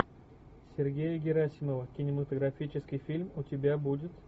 сергея герасимова кинематографический фильм у тебя будет